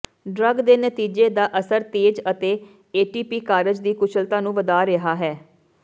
drug ਦੇ ਨਤੀਜੇ ਦਾ ਅਸਰ ਤੇਜ਼ ਅਤੇ ਏਟੀਪੀ ਕਾਰਜ ਦੀ ਕੁਸ਼ਲਤਾ ਨੂੰ ਵਧਾ ਰਿਹਾ ਹੈ